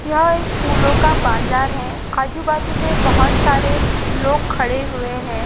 यह एक फूलों का बाजार है आजू बाजू में बहुत सारे लोग खड़े हुए है।